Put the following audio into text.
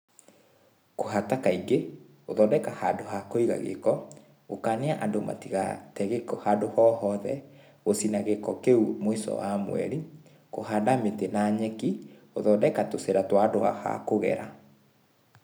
Kῦhata kaingῖ, gῦthondeka handῦ ha kῦiga gῖko, gῦkania andῦ matigate gῖko handῦ o hothe, gῦcina gῖko kῖu mῦico wa mweri, kῦhanda mῖtῖ na nyeki, gῦthondeka tῦcῖra twa andῦ twa ha kῦgera